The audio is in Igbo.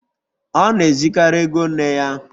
Ọ na-ezukarị ego nne ya.